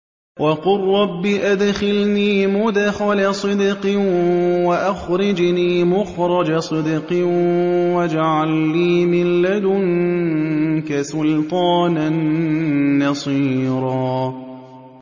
وَقُل رَّبِّ أَدْخِلْنِي مُدْخَلَ صِدْقٍ وَأَخْرِجْنِي مُخْرَجَ صِدْقٍ وَاجْعَل لِّي مِن لَّدُنكَ سُلْطَانًا نَّصِيرًا